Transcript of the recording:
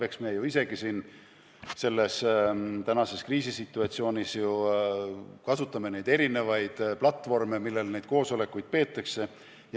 Eks me ju ise ka praeguses kriisisituatsioonis kasutame erinevaid platvorme, mille abil neid koosolekuid peame.